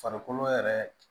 Farikolo yɛrɛ